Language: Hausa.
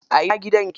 A ina gidan yake?